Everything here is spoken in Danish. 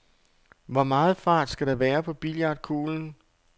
Hvor meget fart skal der være på billiardkuglen?